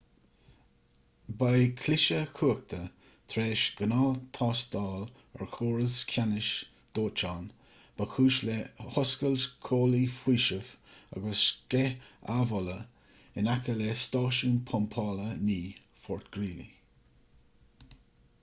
ba é cliseadh cumhachta tar éis ghnáth-thástáil ar chóras ceannais dóiteáin ba chúis le hoscailt comhlaí faoisimh agus sceith amhola in aice le stáisiún pumpála 9 fort greely